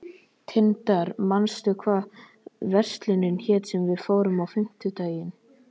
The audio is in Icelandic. Tindar, manstu hvað verslunin hét sem við fórum í á fimmtudaginn?